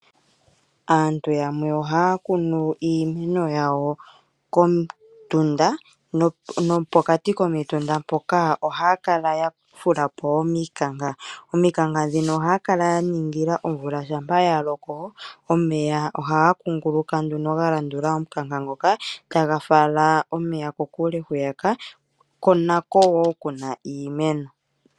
Aantu yamwe ohaa kunu iimeno yawo komutunda, nopokati komitunda mpoka ohaa kala ya fula po omikanka. Omikanka dhino ohaa kala ya ningila omvula shampa ya loko omeya ohaga kunguluka nduno ga landula omukanka nguka, taga fala omeya kokule hwiyaka ko nako wo kuna iimeno.